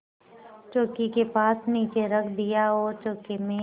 चौकी के पास नीचे रख दिया और चौके में